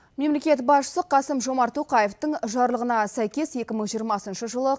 мемлекет басшысы қасым жомарт тоқаевтың жарлығына сәйкес екі мың жиырмасыншы жылы